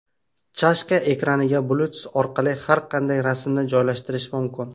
Chashka ekraniga Bluetooth orqali har qanday rasmni joylashtirish mumkin.